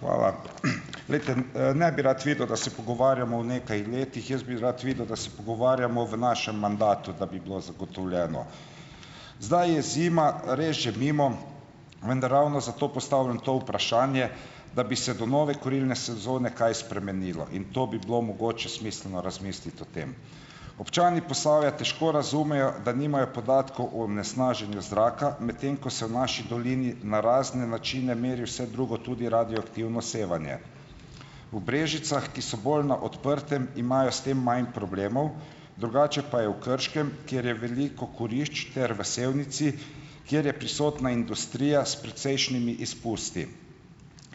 Hvala. Glejte. Ne bi rad videl, da se pogovarjamo o nekaj letih, jaz bi rad videl, da se pogovarjamo v našem mandatu, da bi bilo zagotovljeno. Zdaj je zima res že mimo, vendar ravno zato postavljam to vprašanje, da bi se do nove kurilne sezone kaj spremenilo in to bi bilo mogoče smiselno razmisliti o tem. Občani Posavja težko razumejo, da nimajo podatkov o onesnaženju zraka, medtem ko se v naši dolini na razne načine meri vse drugo, tudi radioaktivno sevanje. V Brežicah, ki so bolj na odprtem, imajo s tem manj problemov, drugače pa je v Krškem, kjer je veliko kurišč, ter v Sevnici, kjer je prisotna industrija s precejšnjimi izpusti.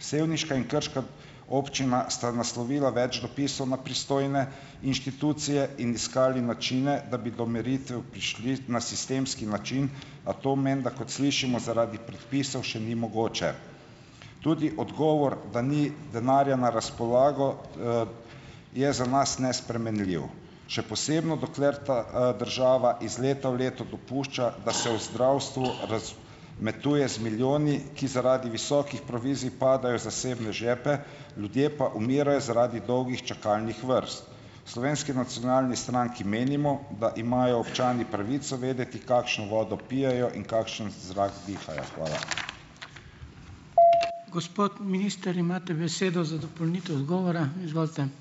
Sevniška in krška občina sta naslovila več dopisov na pristojne inštitucije in iskali načine, da bi do meritev prišli na sistemski način, a to menda, kot slišimo, zaradi predpisov še ni mogoče. Tudi odgovor, da ni denarja na razpolago, je za nas nespremenljiv, še posebno dokler ta, država iz leta v leto dopušča, da se v zdravstvu metuje z milijoni, ki zaradi visokih provizij padajo v zasebne žepe, ljudje pa umirajo zaradi dolgih čakalnih vrst. V Slovenski nacionalni stranki menimo, da imajo občani pravico vedeti, kakšno vodo pijejo in kakšen zrak dihajo. Hvala.